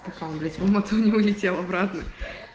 что то блять он не улетел обратно